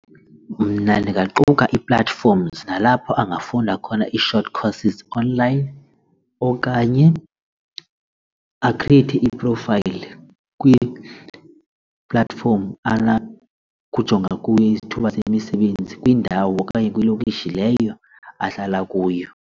Mna ndingaquka ii-platforms nalapho angafunda khona ii-short courses online okanye akhrieyithe i-profile kwi-platform kujonga kuyo izithuba semisebenzi kwindawo okanye kwilokishi leyo ahlala kuyo.